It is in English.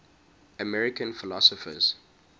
american philosophers